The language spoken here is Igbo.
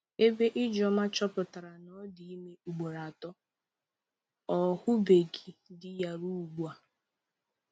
Ebe Ijeoma chọpụtara na ọ dị ime ugboro atọ, ọ hụbeghị di ya ruo ugbu a